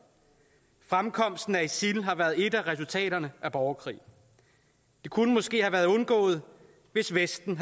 fremkomsten af isil har været et af resultaterne af borgerkrigen det kunne måske have været undgået hvis vesten